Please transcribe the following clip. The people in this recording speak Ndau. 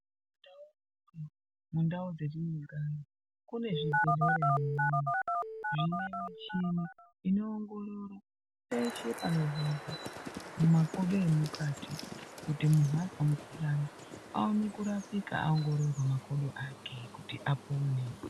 Mundau dzatinogara kune zvibhedhlera zvine michini inoongorora makodo emukati kuti munhu anzwa mukuhlani aone kurapika aongororwa makodo ake kuti apone.